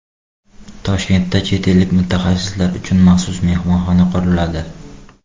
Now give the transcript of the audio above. Toshkentda chet ellik mutaxassislar uchun maxsus mehmonxona quriladi.